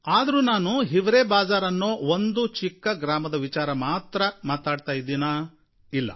ಆದರೂ ನಾನು ಹಿವರೇ ಬಾಜ಼ಾರ್ ಅನ್ನೋ ಒಂದು ಚಿಕ್ಕ ಗ್ರಾಮದ ವಿಚಾರ ಮಾತ್ರ ಮಾತಾಡ್ತಾ ಇದ್ದೀನಾ ಇಲ್ಲ